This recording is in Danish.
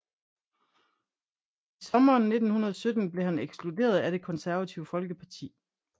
I sommeren 1917 blev han ekskluderet af Det konservative Folkeparti